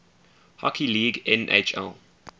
hockey league nhl